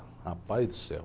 Rapaz do céu.